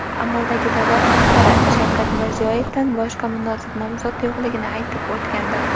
amaldagi davlat rahbari Shavkat Mirziyoyevdan boshqa munosib nomzod yo‘qligini aytib o‘tgandi.